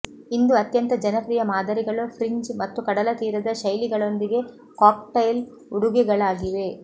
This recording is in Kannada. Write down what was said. ಇಂದು ಅತ್ಯಂತ ಜನಪ್ರಿಯ ಮಾದರಿಗಳು ಫ್ರಿಂಜ್ ಮತ್ತು ಕಡಲತೀರದ ಶೈಲಿಗಳೊಂದಿಗೆ ಕಾಕ್ಟೈಲ್ ಉಡುಗೆಗಳಾಗಿವೆ